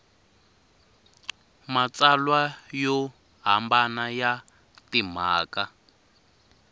matsalwa yo hambana ya timhaka